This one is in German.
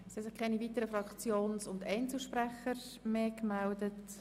Es haben sich keine weiteren Fraktions- und Einzelsprecherinnen und -sprecher gemeldet.